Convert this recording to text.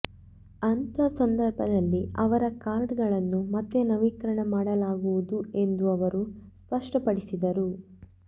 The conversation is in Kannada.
ಅಂಥ ಸಂದರ್ಭದಲ್ಲಿ ಅವರ ಕಾರ್ಡ್ಗಳನ್ನು ಮತ್ತೆ ನವೀಕರಣ ಮಾಡಲಾಗುವುದು ಎಂದೂ ಅವರು ಸ್ಪಷ್ಟಪಡಿಸಿದರು